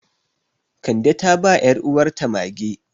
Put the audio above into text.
Kande ta ba 'yaruwarta mage.